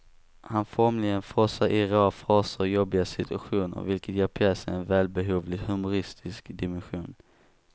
Han formligen frossar i råa fraser och jobbiga situationer, vilket ger pjäsen en välbehövligt humoristisk dimension.